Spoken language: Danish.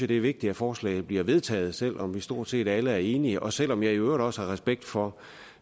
det er vigtigt at forslaget bliver vedtaget selv om vi stort set alle er enige og selv om jeg i øvrigt også har respekt for